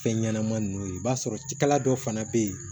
Fɛn ɲɛnama ninnu ye i b'a sɔrɔ cikɛla dɔ fana bɛ yen